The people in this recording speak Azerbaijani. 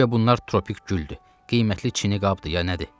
Guya bunlar tropik güldü, qiymətli çini qabdı ya nədir?